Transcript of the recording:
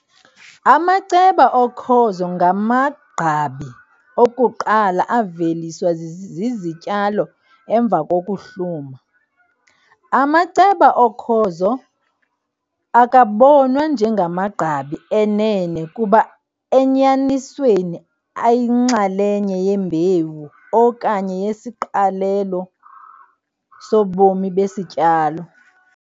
Amaceba okhozo ngamagqabi okuqala aveliswa zizityalo emva kokuhluma. Amaceba okhozo akabonwa njengamagqabi enene kuba enyanisweni ayinxalenye yembewu okanye yesiqalelo sobomi besityalo.